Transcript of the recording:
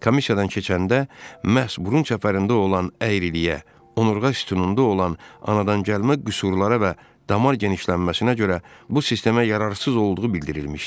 Komissiyadan keçəndə məhz burun çəpərində olan əyriliyə, onurğa sütununda olan anadan gəlmə qüsurlara və damar genişlənməsinə görə bu sistemə yararsız olduğu bildirilmişdi.